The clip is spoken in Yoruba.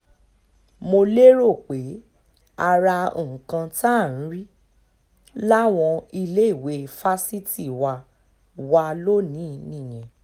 mo lérò pé ara nǹkan tá à ń rí láwọn iléèwé fásitì wa wa lónìí nìyẹn